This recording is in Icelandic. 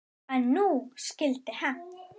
En nú skyldi hefnt.